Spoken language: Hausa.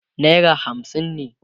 naira hamsin ne